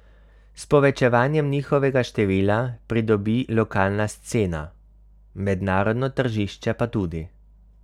S povečevanjem njihovega števila pridobi lokalna scena, mednarodno tržišče pa tudi.